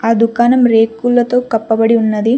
అ దుకాణం రేకులతో కప్పబడి ఉన్నది.